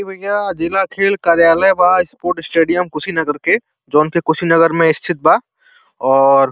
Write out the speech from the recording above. इ भईया जिला खेल कार्यालय बा। स्पोर्ट स्टेडियम कुशीनगर के जौन की कुशीनगर में स्थित बा और --